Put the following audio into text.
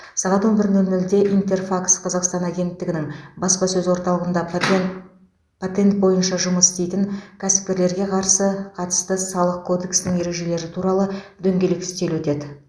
сағат он бір нөл нөлде интерфакс қазақстан агенттігінің баспасөз орталығында патент патент бойынша жұмыс істейтін кәсіпкерлерге қарсы қатысты салық кодексінің ережелері туралы дөңгелек үстел өтеді